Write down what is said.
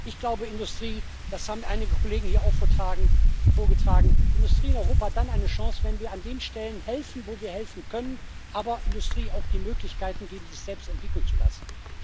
Ich glaube das haben einige Kollegen hier auch vorgetragen Industrie in Europa hat dann eine Chance, wenn wir an den Stellen helfen, wo wir helfen können, aber der Industrie auch die Möglichkeiten geben, sich selbst entwickeln zu lassen.